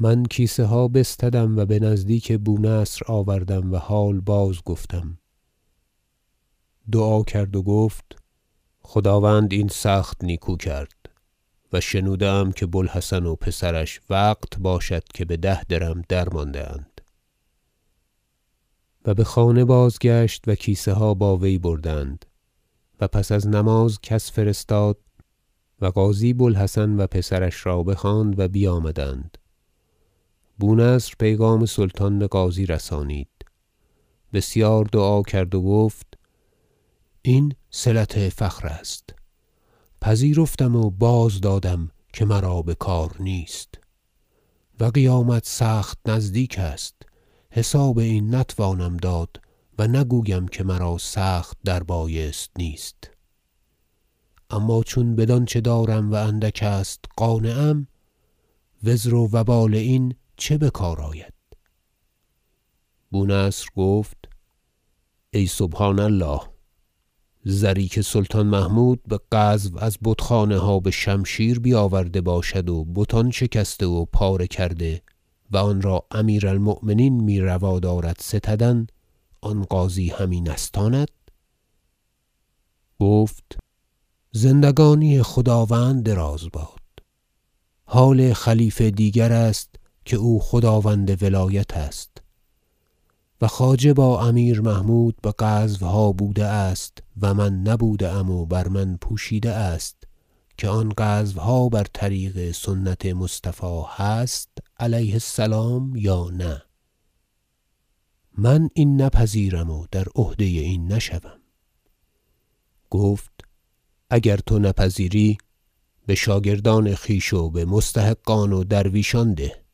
من کیسه ها بستدم و به نزدیک بونصر آوردم و حال بازگفتم دعا کرد و گفت خداوند این سخت نیکو کرد و شنوده ام که بوالحسن و پسرش وقت باشد که به ده درم درمانده اند و به خانه بازگشت و کیسه ها با وی بردند و پس از نماز کس فرستاد و قاضی بو الحسن و پسرش را بخواند و بیامدند بونصر پیغام سلطان به قاضی رسانید بسیار دعا کرد و گفت این صلت فخر است پذیرفتم و بازدادم که مرا به کار نیست و قیامت سخت نزدیک است حساب این نتوانم داد و نگویم که مرا سخت در بایست نیست اما چون بدانچه دارم و اندک است قانعم و زر و وبال این چه به کار آید بونصر گفت ای سبحان الله زری که سلطان محمود به غزو از بت خانه ها به شمشیر بیاورده باشد و بتان شکسته و پاره کرده و آن را امیر المؤمنین می روا دارد ستدن آن قاضی همی نستاند گفت زندگانی خداوند دراز باد حال خلیفه دیگر است که او خداوند ولایت است و خواجه با امیر محمود به غزوها بوده است و من نبوده ام و بر من پوشیده است که آن غزوها بر طریق سنت مصطفی هست علیه السلام یا نه من این نپذیرم و در عهده این نشوم گفت اگر تو نپذیری به شاگردان خویش و به مستحقان و درویشان ده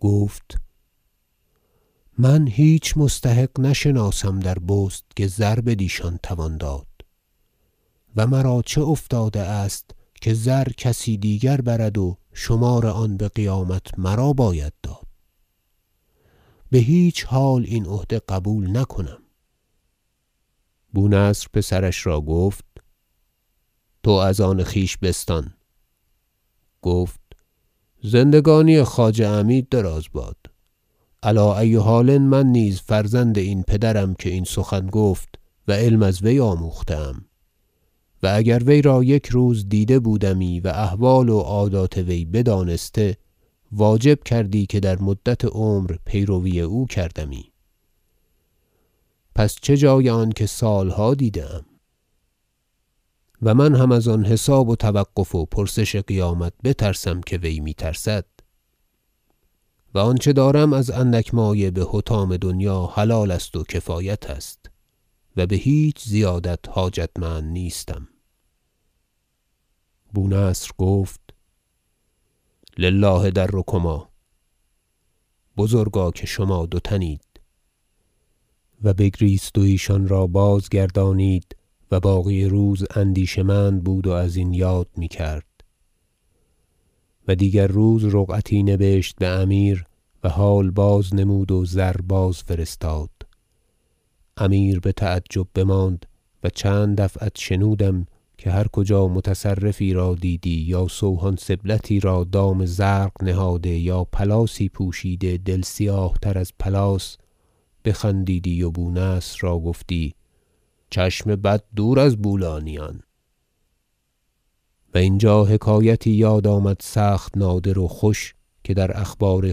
گفت من هیچ مستحق نشناسم در بست که زر بدیشان توان داد و مرا چه افتاده است که زر کسی دیگر برد و شمار آن به قیامت مرا باید داد به هیچ حال این عهده قبول نکنم بونصر پسرش را گفت تو از آن خویش بستان گفت زندگانی خواجه عمید دراز باد علی ای حال من نیز فرزند این پدرم که این سخن گفت و علم از وی آموخته ام و اگر وی را یک روز دیده بودمی و احوال و عادات وی بدانسته واجب کردی که در مدت عمر پیروی او کردمی پس چه جای آنکه سال ها دیده ام و من هم از آن حساب و توقف و پرسش قیامت بترسم که وی می ترسد و آنچه دارم از اندک مایه حطام دنیا حلال است و کفایت است و به هیچ زیادت حاجتمند نیستم بونصر گفت لله در کما بزرگا که شما دو تن اید و بگریست و ایشان را باز گردانید و باقی روز اندیشه مند بود و ازین یاد می کرد و دیگر روز رقعتی نبشت به امیر و حال بازنمود و زر بازفرستاد امیر به تعجب بماند و چند دفعت شنودم که هر کجا متصوفی را دیدی یا سوهان سبلتی را دام زرق نهاده یا پلاسی پوشیده دل سیاه تر از پلاس بخندیدی و بونصر را گفتی چشم بد دور از بولانیان و اینجا حکایتی یاد آمد سخت نادر و خوش که در اخبار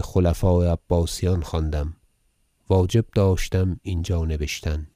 خلفاء عباسیان خواندم واجب داشتم اینجا نبشتن